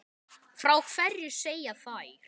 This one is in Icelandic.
Frá hverju segja þær?